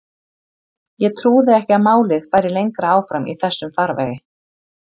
Ég trúði ekki að málið færi lengra áfram í þessum farvegi.